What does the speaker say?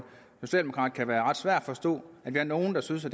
socialdemokrat kan være ret svært at forstå at vi er nogle der synes at